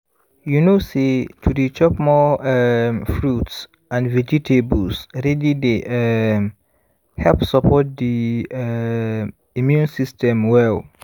you know say to dey chop more um fruits and vegetables really dey um help support the um immune system well